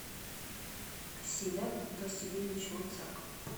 асият васильевич луцак